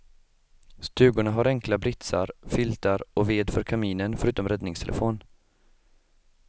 Stugorna har enkla britsar, filtar och ved för kaminen förutom räddningstelefon.